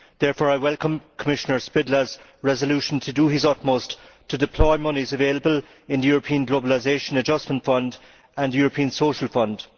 Therefore, I welcome Commissioner Špidla's resolution to do his utmost to deploy monies available in the European Globalisation Adjustment Fund and the European Social Fund.